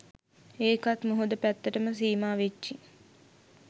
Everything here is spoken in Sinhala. ඒකත් මුහුද පැත්තටම සීමා වෙච්චි